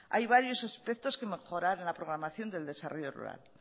hay varios espectros que mejorar en la programación del desarrollo rural